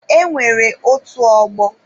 E nwere otu ọgbọ